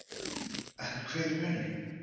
En hver er munurinn?